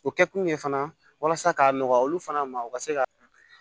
O kɛkun ye fana walasa ka nɔgɔya olu fana ma u ka se ka